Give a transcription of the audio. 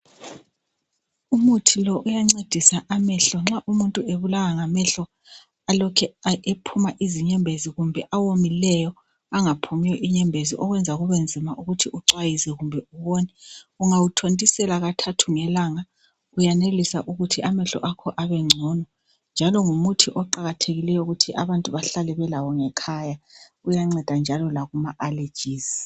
Umuthi lo uyancedisa amehlo, nxa umuntu ebulawa ngamehlo alokhe aphuma izinyembezi kumbe awomileyo angaphumi inyembezi okwenza kubenzima ukuthi ucwayize kumbe ubone , ungawuthontisela kathathu ngelanga uyanelisa ukuthi amehlo akho abengcono njalo ngumuthi oqakathekileyo ukuthi abantu bahlale belawo ngekhaya , uyanceda njalo lakuma allergies